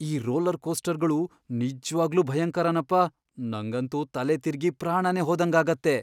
ಈ ರೋಲರ್ ಕೋಸ್ಟರ್ಗಳು ನಿಜ್ವಾಗ್ಲೂ ಭಯಂಕರನಪ್ಪ! ನಂಗಂತೂ ತಲೆತಿರ್ಗಿ ಪ್ರಾಣನೇ ಹೋದಂಗಾಗತ್ತೆ.